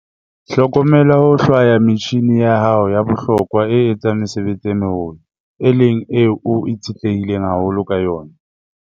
Hlokomela ho hlwaya metjhine ya hao ya bohlokwa e etsang mesebetsi e meholo, e leng eo o itshetlehileng haholo ka yona.